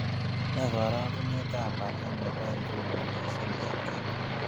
Ne karogunetap walet ne po inguni miising' eng' kenya